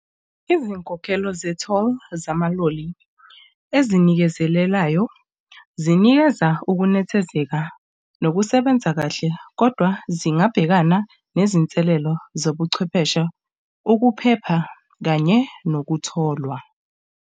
Izinkokhelo ze-toll zamaloli ezinikezelelayo zinikeza ukunethezeka nokusebenza kahle, kodwa zingabhekana nezinselelo zobuchwepheshe, ukuphepha kanye nokutholwa.